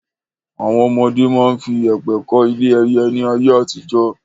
Àwọn ọmọdé máa ń fi yèpẹ̀ kọ́ ilé ẹyẹ ni ayé àtijọ́.